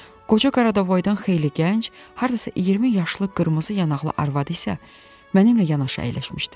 Qoca Qaradavoydan xeyli gənc, hardasa 20 yaşlı qırmızı yanaqlı arvadı isə mənimlə yanaşı əyləşmişdi.